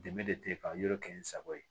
Dɛmɛ de tɛ ka yiri kɛ n sago ye